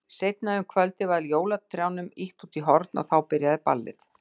Seinna um kvöldið var jólatrjánum ýtt út í horn og þá byrjaði ballið.